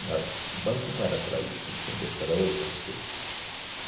Não era, o banco não era para isso, entende? Era para outras coisas.